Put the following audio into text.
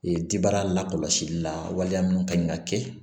jibara lakɔlɔsili la waleya minnu ka ɲi ka kɛ